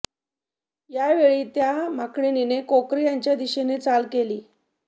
यावेळी त्या माकडीनीने कोकरे यांच्या दिशेने चाल केली